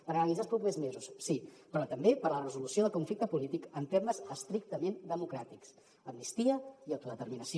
per analitzar els propers mesos sí però també per a la resolució del conflicte polític en termes estrictament democràtics amnistia i autodeterminació